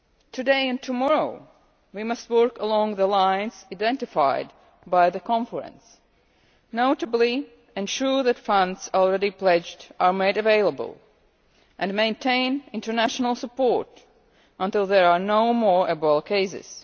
Today and tomorrow, we must work along the lines identified by the Conference, notably, to ensure that funds already pledged are made available and maintain international support until there are no more Ebola cases.